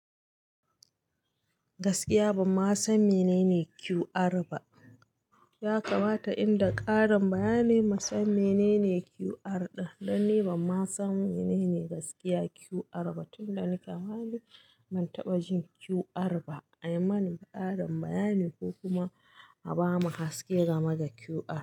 Gaskiya banma san menene QR ba. Ya kamata inda ƙarin bayani mu san menene QR ɗin. Dan ni ba ma san menene gaskiya QR ba. Tunda nike ma ni ban taɓa jin QR ba. A yi mani ƙarin bayani ko kuma a bamu haske game da QR.